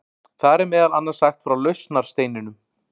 Þar er meðal annars sagt frá lausnarsteininum.